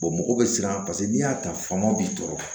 mɔgɔw bɛ siran paseke n'i y'a ta fanga b'i tɔɔrɔ